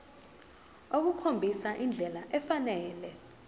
ukukhombisa indlela efanele